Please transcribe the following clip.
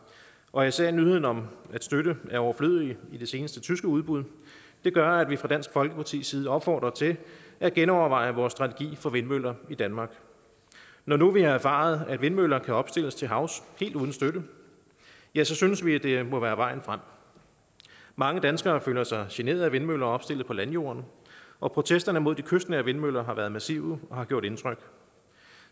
og især nyheden om at støtte er overflødig i de seneste tyske udbud gør at vi fra dansk folkepartis side opfordrer til at genoverveje vores strategi for vindmøller i danmark når nu vi har erfaret at vindmøller kan opstilles til havs helt uden støtte ja så synes vi det må være vejen frem mange danskere føler sig generet af vindmøller opstillet på landjorden og protesterne mod de kystnære vindmøller har været massive og har gjort indtryk